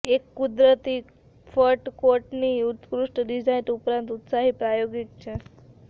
એક કુદરતી fur coat ની ઉત્કૃષ્ટ ડિઝાઇન ઉપરાંત ઉત્સાહી પ્રાયોગિક છે